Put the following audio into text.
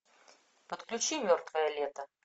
подключи мертвое лето